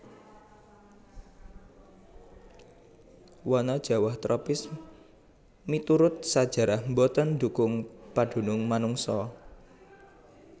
Wana jawah tropis miturut sajarah boten ndhukung padunung manungsa